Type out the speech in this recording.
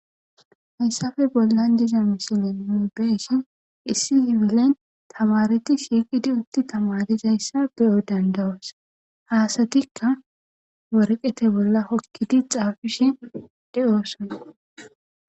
Hayisape bolan diza missilen nu beishin issi kifilen tamarete shiiqidi utidi tamarizayisa beo danida'os ha asatika woreqete bola hokidi xafishe deosona.